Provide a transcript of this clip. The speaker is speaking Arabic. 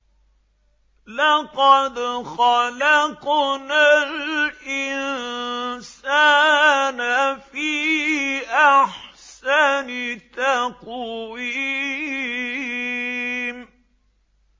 لَقَدْ خَلَقْنَا الْإِنسَانَ فِي أَحْسَنِ تَقْوِيمٍ